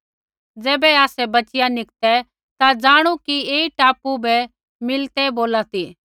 ज़ैबै आसै बच़िया निकतै ता ज़ाणू कि ऐई टापू बै मिलिते बोला सी